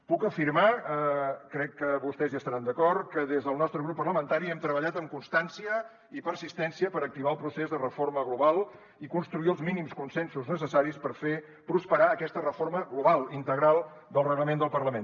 puc afirmar crec que vostès hi estaran d’acord que des del nostre grup parlamentari hem treballat amb constància i persistència per activar el procés de reforma global i construir els mínims consensos necessaris per fer prosperar aquesta reforma global integral del reglament del parlament